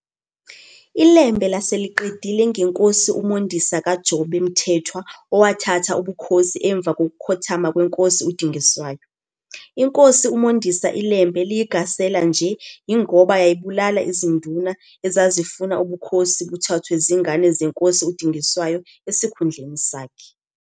ILembe lase liqedile ngeNkosi uMondisa kaJobe Mthethwa owathatha ubukhosi emva kokukhothama kweNkosi uDingiswayo. INkosi uMondisa iLembe liyigasela nje, yingoba, yayibulala iziNduna ezazifuna ubukhosi buthathwe zingane zeNkosi uDingiswayo esikhundleni sakhe.